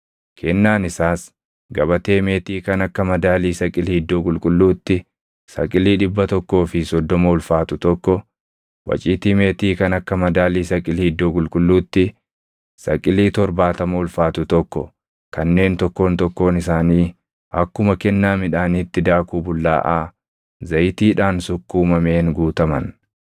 Kennaan isaas gabatee meetii kan akka madaalii saqilii iddoo qulqulluutti saqilii dhibba tokkoo fi soddoma ulfaatu tokko, waciitii meetii kan akka madaalii saqilii iddoo qulqulluutti saqilii torbaatama ulfaatu tokko kanneen tokkoon tokkoon isaanii akkuma kennaa midhaaniitti daakuu bullaaʼaa zayitiidhaan sukkuumameen guutaman,